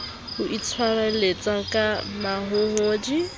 ho itshwareletsa ka mahohodi ba